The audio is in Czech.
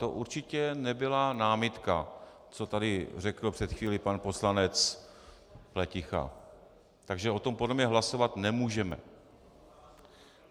To určitě nebyla námitka, co tady řekl před chvílí pan poslanec Pleticha, takže o tom podle mě hlasovat nemůžeme.